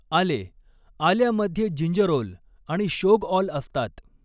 आले आल्यामध्ये जिंजरोल आणि शोगऑल असतात.